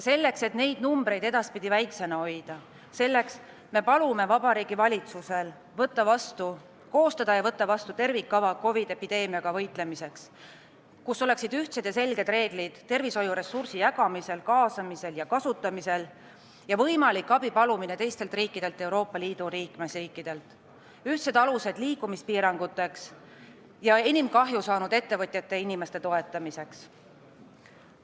Selleks, et neid numbreid edaspidi väiksena hoida, me palume Vabariigi Valitsusel koostada ja võtta vastu tervikkava COVID-i epideemiaga võitlemiseks, kus oleksid ühtsed ja selged reeglid tervishoiuressursi jagamisel, kaasamisel ja kasutamisel ning võimalik abipalumine teistelt riikidelt, Euroopa Liidu liikmesriikidelt, ühtsed alused liikumispiiranguteks ja enim kahju saanud ettevõtjate ja inimeste toetamiseks.